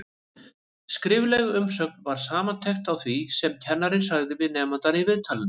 Skrifleg umsögn var samantekt á því sem kennarinn sagði við nemandann í viðtalinu.